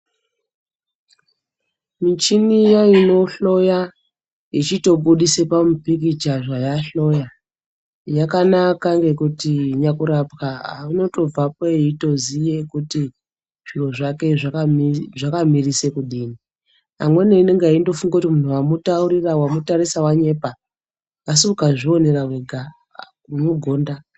Michini iya inohloya yechitobudise pamupicture zvayahloya yakanaka ngekuti nyakurapwa unotobvapo eitoziye kuti zviro zvake zvakamirise kudini amweni anenge eindofunge kuti munhu wamutaurira/wamutarisa wanyepa asi ukazvionera wega unogonda.